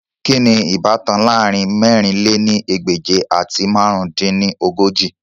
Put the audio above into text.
Kini ibatan laarin mẹ̀rin lé ní ẹgbẹ́je ati màrún dín ní ogójì?